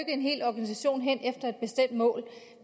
en hel organisation hen mod